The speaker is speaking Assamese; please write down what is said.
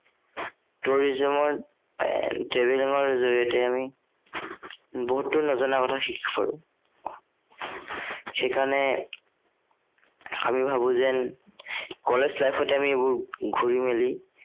tourism ৰ এৰ travelling ৰ জড়িয়তে আমি বহুতো নজনা কথা শিকিব পাৰো। সেই কাৰনে আমি ভাবো যে college life তে আমি এইবোৰ ঘূৰি মেলি